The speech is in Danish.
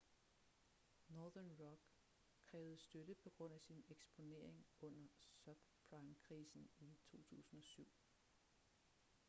northern rock krævede støtte på grund af sin eksponering under subprime-krisen i 2007